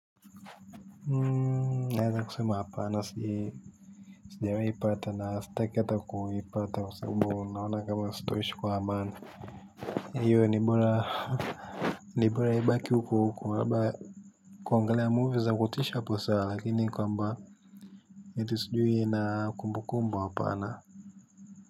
Hmmm naeza kusuma hapa na siyee sijawahi ipata na sitaki ata kuipata kwa sababu naona kama sitaishi kwa amani hio ni bora ni bora ibaki huko huko kuangalia movies na kutisha hapo sawa lakini kwamba eti sijui na kumbukumbu hapana.